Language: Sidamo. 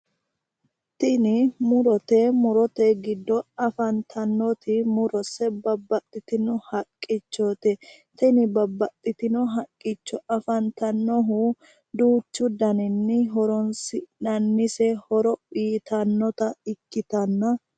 Tini murote. Murote giddo afantannoti murose babbaxxitino haqqichoti. Tini babbaxxitino haqqicho afantannohu duuchu daninni horoonsi'nannise horo uyitannota ikkitanna..